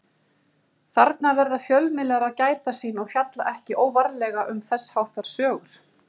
Þarna verða fjölmiðlar að gæta sín og fjalla ekki óvarlega um þess háttar sögur.